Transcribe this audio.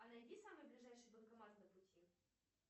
а найди самый ближайший банкомат на пути